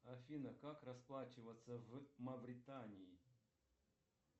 афина как расплачиваться в мавритании